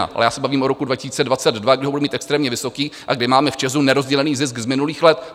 Ale já se bavím o roku 2022, kdy ho bude mít extrémně vysoký a kdy máme v ČEZu nerozdělený zisk z minulých let.